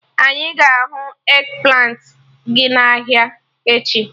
Anyị ga-ahụ eggplant ị n'ahịa echi